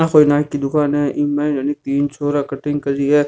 आ कोई नाई की दुकान है इंग मा है नि तीन छोरा है कटाई करिया है।